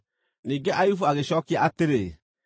Ningĩ Ayubu agĩcookia atĩrĩ: